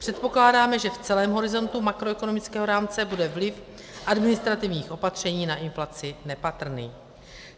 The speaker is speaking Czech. Předpokládáme, že v celém horizontu makroekonomického rámce bude vliv administrativních opatření na inflaci nepatrný.